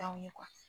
T'anw ye